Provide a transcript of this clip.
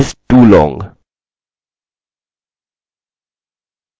अतः हमें यह केवल एक पासवर्ड वेरिएबल में जाँचने की आवश्यकता है